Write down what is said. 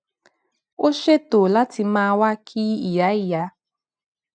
ó ṣètò láti máa wá kí ìyá ìyá